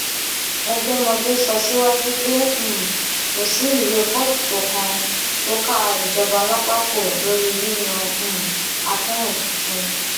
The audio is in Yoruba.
ẹgbẹmọdé sọ síwájú pé um kò sí ìwé kóòtù kankan tó ká ìjọba lápá kó lórí yíyan um akinrun tuntun